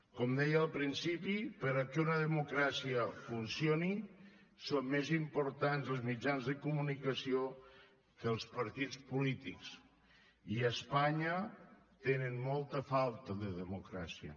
com deia al principi perquè una democràcia funcioni són més importants els mitjans de comunicació que els partits polítics i a espanya tenen molta falta de democràcia